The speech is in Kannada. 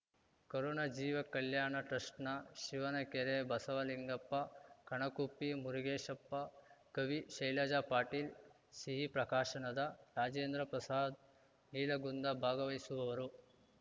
ಕರುಣ ಜೀವ ಕಲ್ಯಾಣ ಟ್ರಸ್ಟ್‌ನ ಶಿವನಕೆರೆ ಬಸವಲಿಂಗಪ್ಪ ಕಣಕುಪ್ಪಿ ಮುರುಗೇಶಪ್ಪ ಕವಿ ಶೈಲಜಾ ಪಾಟೀಲ್ ಸಿಹಿ ಪ್ರಕಾಶನದ ರಾಜೇಂದ್ರಪ್ರಸಾದ್ ನೀಲಗುಂದ ಭಾಗವಹಿಸುವವರು